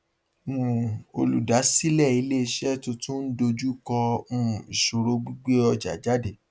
um olùdásílẹ ilé iṣẹ tuntun ń dojú kọ um ìṣòro gbígbé ọjà jáde